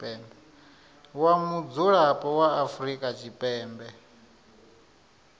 wa mudzulapo wa afrika tshipembe